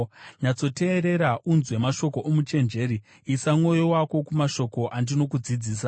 Nyatsoteerera unzwe mashoko omuchenjeri; isa mwoyo wako kumashoko andinokudzidzisa,